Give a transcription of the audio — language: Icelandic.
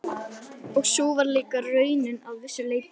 Og sú var líka raunin að vissu leyti.